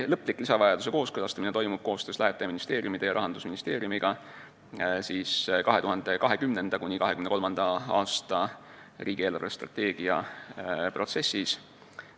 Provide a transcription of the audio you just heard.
Lõplik lisavajaduse kooskõlastamine toimub koostöös lähetaja ministeeriumide ja Rahandusministeeriumiga 2020.–2030. aasta riigi eelarvestrateegia protsessis.